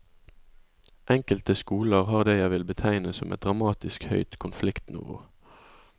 Enkelte skoler har det jeg vil betegne som et dramatisk høyt konfliktnivå.